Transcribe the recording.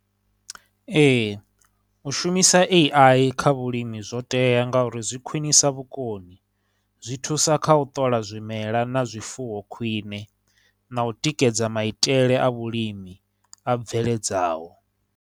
Ee, u shumisa A_I kha vhulimi zwo tea ngauri zwi khwinisa vhukoni, zwi thusa kha u ṱola zwimela na zwifuwo khwie, na u tikedza maitele a vhulimi a bveledzaho.